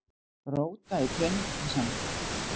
Róta í peningakassanum.